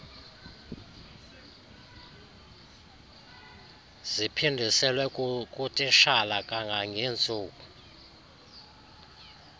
ziphindiselwe kutitshala kangangentsuku